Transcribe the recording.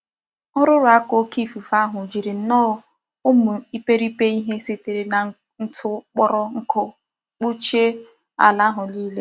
Ururu aka oke ikuku ahu jiri nnoo umu ipripe ihe sitere na ntù kporo nku kpuchie ala àhû nile.